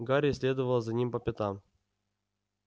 гарри следовал за ним по пятам